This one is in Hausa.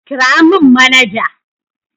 Kira mun manaja